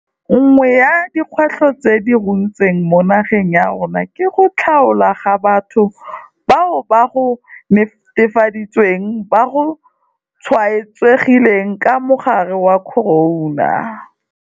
Nngwe ya dikgwetlho tse di runtseng mo nageng ya rona ke go tlhaolwa ga batho bao go netefaditsweng ba tshwaetsegile ka mogare wa corona.